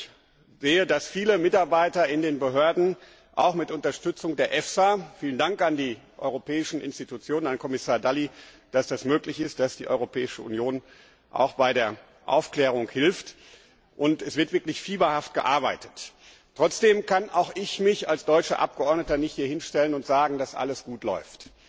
Ich sehe, dass viele Mitarbeiter in den Behörden auch mit Unterstützung der EFSA vielen Dank an die Europäischen Institutionen, an Kommissar Dalli, dass auch die Europäische Union bei der Aufklärung hilft wirklich fieberhaft daran arbeiten. Trotzdem kann auch ich mich als deutscher Abgeordneter nicht hier hinstellen und sagen, dass alles gut läuft.